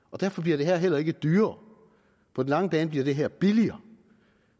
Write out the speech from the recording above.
og derfor bliver det her heller ikke dyrere på den lange bane bliver det her billigere